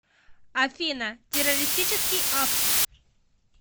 афина террористический акт